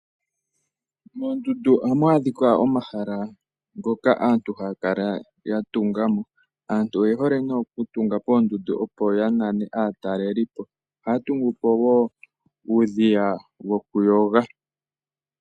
Mondundu ohamu adhika omahala ngoka aantu haya kala yatunga mo. Aantu oye hole nee okutunga poondundu opo ya nane aatalelipo. Ohaya tungu po wo uudhiya wokuyoga.